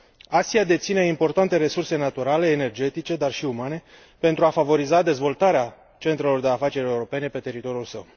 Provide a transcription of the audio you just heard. Asia deține importante resurse naturale, energetice, dar și umane, pentru a favoriza dezvoltarea centrelor de afaceri europene pe teritoriul său.